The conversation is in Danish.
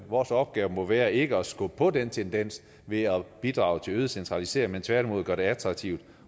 vores opgave må være ikke at skubbe på den tendens ved at bidrage til øget centralisering men tværtimod at gøre det attraktivt